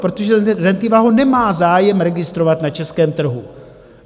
Protože Zentiva ho nemá zájem registrovat na českém trhu.